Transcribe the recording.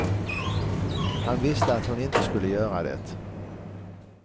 Han visste att hon inte skulle göra det.